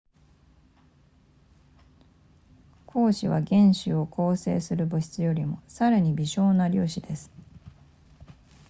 光子は原子を構成する物質よりもさらに微小な粒子です